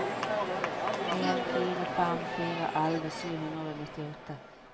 en fire fem fire elleve sju hundre og nittiåtte